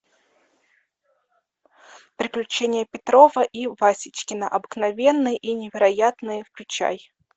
приключения петрова и васечкина обыкновенные и невероятные включай